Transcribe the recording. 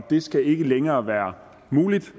det skal ikke længere være muligt